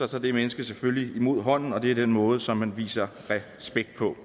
tager det menneske selvfølgelig imod hånden det er den måde som man viser respekt på